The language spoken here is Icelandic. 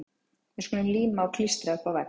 Við skulum líma og klístra upp á vegg.